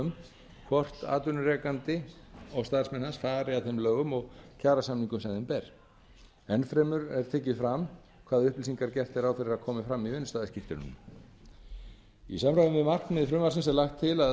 um hvort atvinnurekandi og starfsmenn hans fari að þeim lögum og kjarasamningum sem þeim ber enn fremur er tekið fram hvaða upplýsingar gert er ráð fyrir að komi fram í vinnustaðaskírteinunum í samræmi við markmið frumvarpsins er lagt til að